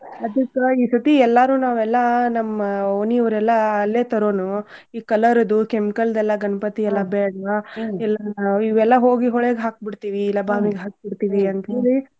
ಅದಕ್ಕ ಈ ಸತಿ ಎಲ್ಲಾರೂ ನಾವ್ ಎಲ್ಲಾ ನಮ್ಮ ಓಣಿಯೋರ್ ಎಲ್ಲಾ ಅಲ್ಲೇ ತರೋಣು ಈ colour ಅದು chemical ದೆಲ್ಲ ಗಣ್ಪತಿ ಎಲ್ಲಾ ಬೇಡ್ವಾ. ಎಲ್ಲಾ ಇವೆಲ್ಲ ಹೋಗಿ ಹೊಳೆಗ್ ಹಾಕ್ ಬಿಡ್ತೀವಿ ಇಲ್ಲಾ ಬಾವಿಗ್ ಹಾಕ್ ಬಿಡ್ತೇವಿ ಅಂತ್ಹೇಳಿ.